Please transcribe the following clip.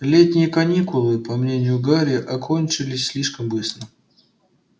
летние каникулы по мнению гарри окончились слишком быстро